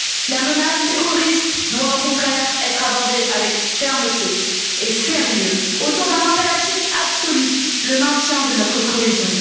La menace terroriste doit au contraire être abordée avec fermeté et sérieux, autour d'un impératif absolu le maintien de notre cohésion.